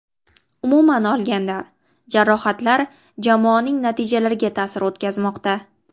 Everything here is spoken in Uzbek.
Umuman olganda, jarohatlar jamoaning natijalariga ta’sir o‘tkazmoqda.